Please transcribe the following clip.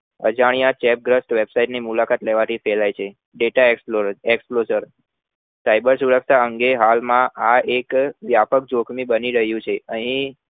અજાણ્યા ચેપ્ગ્રાસ્થ website ની મુલાકાત લેવાથી થાય છે data Explossar cyber સુરક્ષા અંગે હાલ એ વ્યાપક જોખમી બની રહ્યું છે અહી